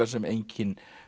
sem enginn